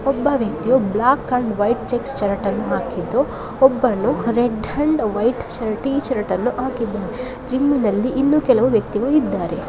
ಒಬ್ಬ ವ್ಯಕ್ತಿಯು black and white checks ಶರ್ಟ್ಅನ್ನು ಹಾಕಿದ್ದು ಒಬ್ಬನು ರೆಡ್ ಅಂಡ್ ವೈಟ್ ಶರ್ಟ್ ಅನ್ನು ಟೀ ಶರ್ಟ್ಅನ್ನು ಹಾಕಿದ್ದಾನೆ ಜಿಮ್ಮಿನಲ್ಲಿ ಇನ್ನು ಕೆಲವು ವ್ಯಕ್ತಿಗಳು ಇದ್ದಾರೆ.